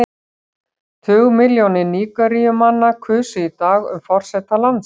Tugmilljónir Nígeríumanna kusu í dag um forseta landsins.